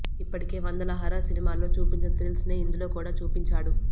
ఇప్పటికే వందల హారర్ సినిమాల్లో చూపించిన థ్రిల్స్ నే ఇందులో కూడా చూపించాడు